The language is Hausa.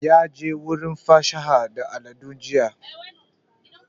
Ya je wurin fasaha da al'adu jiya